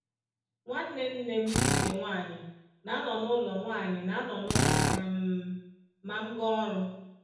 Nwanne nne m nke nwanyị na-anọ n’ụlọ nwanyị na-anọ n’ụlọ um ma m gaa ọrụ.”